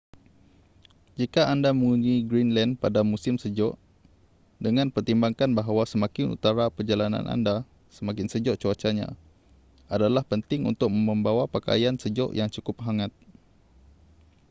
jika anda mengunjungi greenland pada musim sejuk dengan pertimbangkan bahawa semakin utara perjalanan anda semakin sejuk cuacanya adalah penting untuk membawa pakaian sejuk yang cukup hangat